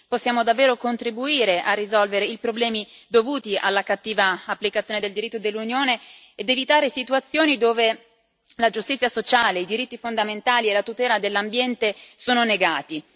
possiamo davvero contribuire a risolvere i problemi dovuti alla cattiva applicazione del diritto dell'Unione ed evitare situazioni dove la giustizia sociale, i diritti fondamentali e la tutela dell'ambiente sono negati.